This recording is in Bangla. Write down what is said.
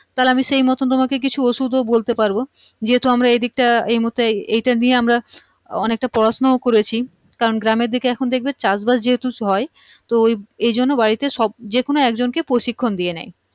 তাহলে আমি সেই মতোন কিছু ওষুধ ও বলতে পারবো যেহেতু আমরা এইদিকটা এইমুর্হুতে এইটা নিয়ে আমরা অনেকটা পড়াশুনা ও করেছি কারণ গ্রামেরদিকে এখন দেখবে চাষবাস যেহেতু হয় তো ওই এইজন্য বাড়িতে সব যেকোনো একজন কে প্রশিক্ষণ দিয়ে নেয়